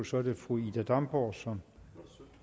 så er det fru ida damborg som